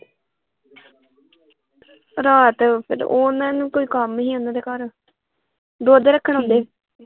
ਰਾਤ ਫੇਰ ਓਹਨਾਂ ਨੂੰ ਕੋਈ ਕੰਮ ਸੀ ਓਹਨਾਂ ਦੇ ਘਰ ਦੁੱਧ ਰੱਖਣ ਆਉਂਦੇ।